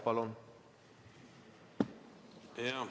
Palun!